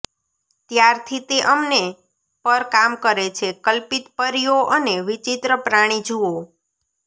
ત્યારથી તે અમને પર કામ કરે છે કલ્પિત પરીઓ અને વિચિત્ર પ્રાણી જુઓ